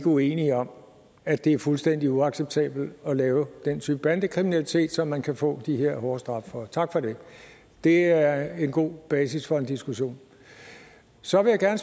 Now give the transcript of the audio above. uenige om at det er fuldstændig uacceptabelt at lave den type bandekriminalitet som man kan få de her hårde straffe for tak for det det er en god basis for en diskussion så vil jeg